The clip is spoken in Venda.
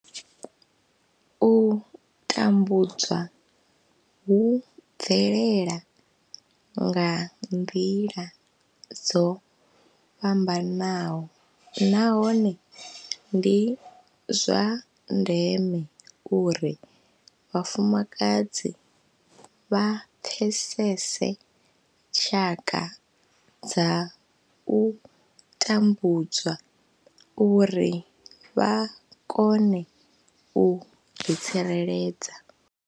U tambudzwa hu bvelela nga nḓila dzo fhambanaho nahone ndi zwa ndeme uri vhafumakadzi vha pfesese tshaka dza u tambudzwa uri vha kone u ḓitsireledza.